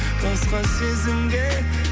басқа сезімге